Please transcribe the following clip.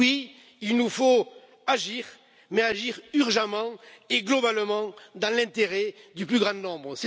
Oui, il nous faut agir, mais agir urgemment et globalement dans l'intérêt du plus grand nombre.